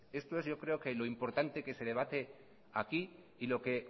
esto es yo creo que lo importante que se debate hoy aquí y lo que